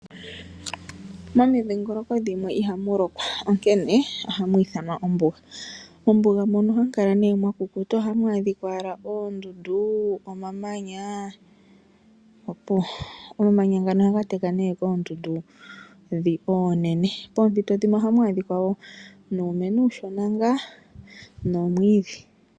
Momidhingoloko dhimwe ihamu lokwa onkene ohamu ithanwa ombuga. Mombuga muno ohamu kala nee mwa kukuta ohamu adhika owala oondundu, omamanya opuwo. Omamanya ngano ohaga teka nee koondundu ndhi oonene. Poompito dhimwe ohamu adhika wo nuumeno uushona ngaa nomwiidhi.